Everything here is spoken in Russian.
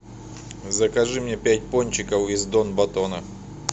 закажи мне пять пончиков из дон батона